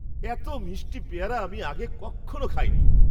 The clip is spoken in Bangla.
এত মিষ্টি পেয়ারা আমি আগে কক্ষনো খাইনি!